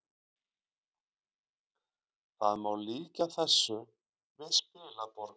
Það má líkja þessu við spilaborg